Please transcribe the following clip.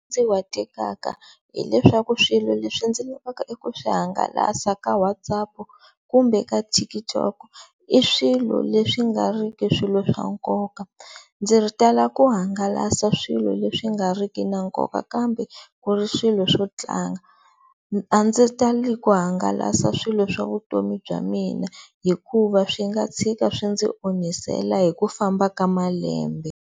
hileswaku swilo leswi ndzi lavaka ku swi hangalasa ka WhatsApp-u kumbe ka TikTok-u i swilo leswi nga ri ki swilo swa nkoka, ndzi tala ku hangalasa swilo leswi nga ri ki na nkoka kambe ku ri swilo swo tlanga. A ndzi tali ku hangalasa swilo swa vutomi bya mina hikuva swi nga tshika swi ndzi onhisela hi ku famba ka malembe.